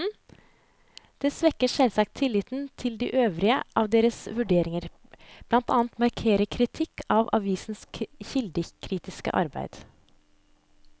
Det svekker selvsagt tilliten til de øvrige av deres vurderinger, blant annet markert kritikk av avisenes kildekritiske arbeid.